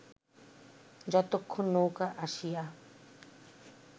যতক্ষণ নৌকা আসিয়া